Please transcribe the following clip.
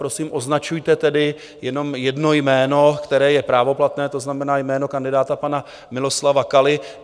Prosím, označujte tedy jenom jedno jméno, které je právoplatné, to znamená jméno kandidáta pana Miloslava Kaly.